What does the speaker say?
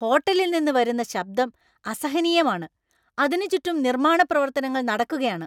ഹോട്ടലിൽ നിന്ന് വരുന്ന ശബ്ദം അസഹനീയമാണ്, അതിന് ചുറ്റും നിർമ്മാണ പ്രവർത്തനങ്ങൾ നടക്കുകയാണ്.